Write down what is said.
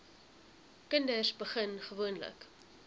kinders begin gewoonlik